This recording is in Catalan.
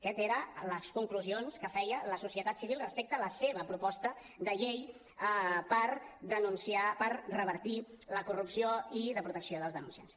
aquestes eren les conclusions que feia la societat civil respecte a la seva proposta de llei per revertir la corrupció i de protecció dels denunciants